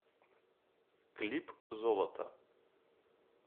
клип золото